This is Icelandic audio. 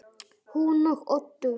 Hún og Oddur